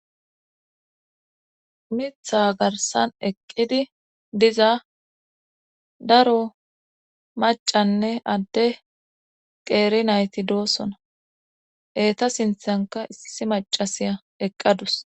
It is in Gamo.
umitha garsan eqqidi diza daro macanne adde qeeri nayti doosona eeta sinthanka issi macasiya eqqadus